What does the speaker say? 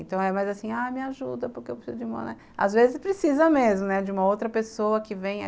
Então é mais assim, me ajuda porque eu preciso de uma... Às vezes precisa mesmo de uma outra pessoa que venha.